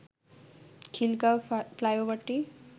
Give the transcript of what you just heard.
Khilgaon ফ্লাইওভারটি